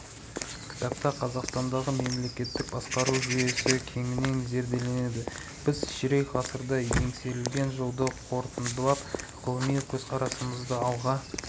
кітапта қазақстандағы мемлекеттік басқару жүйесі кеңінен зерделенеді біз ширек ғасырда еңсерілген жолды қорытындылап ғылыми көзқарасымызды алға